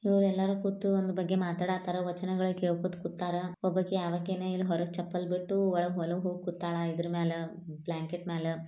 ಇವ್ರೆಲ್ಲಾ ಕೂತೂ ಒಂದ್ ಬಗ್ಗೇ ಮಾತಾಡತಾರ ವಚನಗಳ್ ಕೇಳ್ಕೊತ್ ಕೂತಾರಾ ಒಬ್ಬಾಕಿ ಆವಾಕಿಯೇನ ಇಲ್ಲ್ ಹೊರಗ್ ಚಪ್ಪಲ್ ಬಿಟ್ಟು ಒಳಗ್ ಒಲೆಗ್ ಹೋಗ್ ಕೂತಾಳ ಇದರ್ ಮ್ಯಾಲ ಬ್ಲಾಂಕೆಟ್ ಮ್ಯಾಲ.